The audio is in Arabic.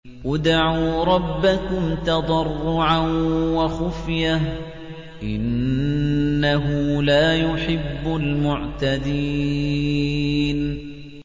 ادْعُوا رَبَّكُمْ تَضَرُّعًا وَخُفْيَةً ۚ إِنَّهُ لَا يُحِبُّ الْمُعْتَدِينَ